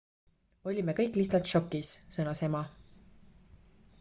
"""olime kõik lihtsalt šokis," sõnas ema.